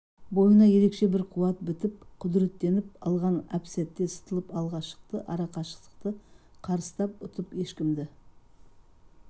бойына ерекше бір қуат бітіп құдыреттеніп алған әп-сәтте сытылып алға шықты ара қашықтықты қарыстап ұтып ешкімді